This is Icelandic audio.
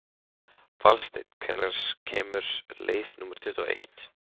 Valsteinn, hvenær kemur leið númer tuttugu og eitt?